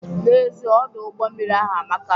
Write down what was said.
N'ezie Ọdụ ụgbọ mmiri ahụ amaka